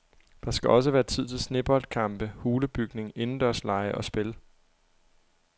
Der skal også være tid til sneboldkampe, hulebygning, indendørslege og spil.